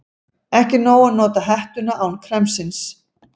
Ekki er nóg að nota hettuna án kremsins.